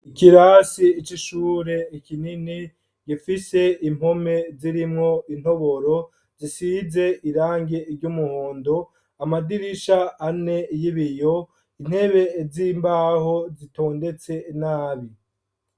Ikirase c’ishure ni kinini gifise impome zirimwo intoboro zisize irangi ry’umuhondo ,amadirisha ane y’ibiyo ,intebe zimbaho zitondetse nabi.